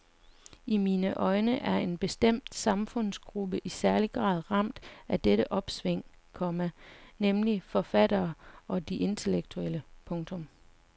I mine øjne er en bestemt samfundsgruppe i særlig grad ramt af dette omsving, komma nemlig forfatterne og de intellektuelle. punktum